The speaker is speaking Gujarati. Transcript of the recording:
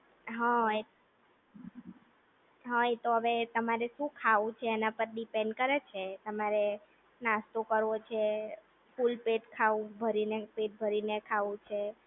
હા એ હા એ તો હવે તમારે શું ખાવું એના પાર ડેપેન્ડ કરે છે, તમારે નાસ્તો કરવો છે, ફુલપેટ પેટ ભરીને ખાવું છે